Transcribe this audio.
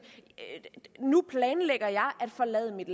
nu planlægger jeg at forlade mit